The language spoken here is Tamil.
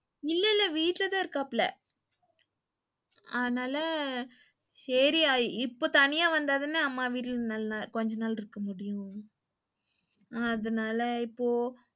இல்லைல்ல வீட்டுலதான் இருக்காப்புல. ஆனால சேரி இப்ப தனியா வந்தாதான அம்மா வீட்டுல நல்ல கொஞ்சா நாள் இருக்க முடியும். அதனால இப்போ,